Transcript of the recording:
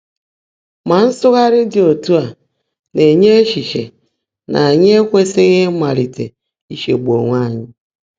Mà nsụ́ghàrị́ ḍị́ ọ́tú́ á ná-ènyé échíché ná ányị́ ékwèsị́ghị́ ị́máliité ícheègbú óńwé ányị́.